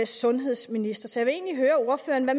sundhedsminister så jeg vil egentlig høre ordføreren hvad